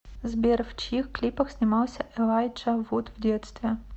сбер в чьих клипах снимался элайджа вуд в детстве